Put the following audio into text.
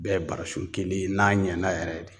Bɛɛ barasun kelen n'a ɲɛna yɛrɛ de